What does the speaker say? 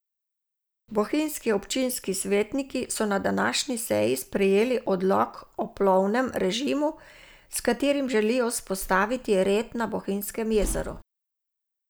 Bohinjski občinski svetniki so na današnji seji sprejeli odlok o plovbnem režimu, s katerim želijo vzpostaviti red na Bohinjskem jezeru.